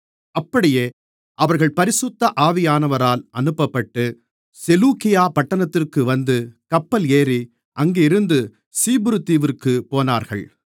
அப்படியே அவர்கள் பரிசுத்த ஆவியானவரால் அனுப்பப்பட்டு செலூக்கியா பட்டணத்திற்கு வந்து கப்பல் ஏறி அங்கிருந்து சீப்புருதீவிற்குப் போனார்கள்